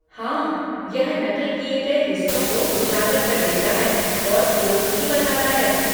हाँ, यह नक़ल किए गए हिस्सों को उजागर कर देता है और स्रोत भी बताता है।